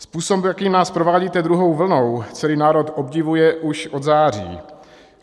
Způsob, jakým nás provázíte druhou vlnou, celý národ obdivuje už od září.